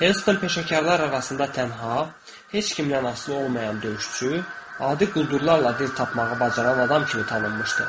Heston peşəkarlar arasında tənha, heç kimdən asılı olmayan döyüşçü, adi quldurlarla dil tapmağı bacaran adam kimi tanınmışdı.